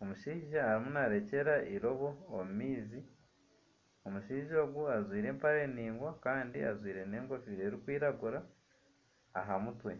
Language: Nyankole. ,omushaija arimu narekyera eirobo omumaizi ,omushaija ogu ajwaire empare ndaingwa Kandi ajwaire n'enkofiire erikwiragura ahamutwe.